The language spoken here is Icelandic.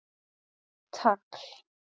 Hátt tagl